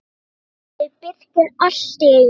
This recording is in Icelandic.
spurði Birkir allt í einu.